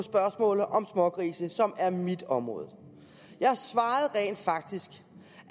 spørgsmålet om smågrise som er mit område jeg svarede rent faktisk